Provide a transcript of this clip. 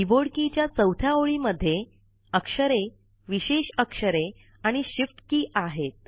keyboard के च्या चौथ्या ओळी मध्ये अक्षरे विशेष अक्षरे आणि शिफ्ट की आहे